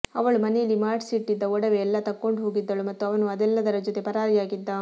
ಅವಳು ಮನೇಲಿ ಮಾಡ್ಸಿಟ್ಟಿದ್ದ ಒಡವೆ ಎಲ್ಲ ತಕ್ಕೊಂಡು ಹೋಗಿದ್ದಳು ಮತ್ತು ಅವನು ಅದೆಲ್ಲದರ ಜೊತೆ ಪರಾರಿಯಾಗಿದ್ದ